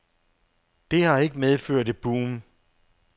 Det har ikke medført et boom.